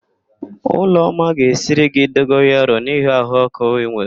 Ụlọma ga-esiri gị dogoyaro n'ihi ahụ ọ́kụ́ ị nwere.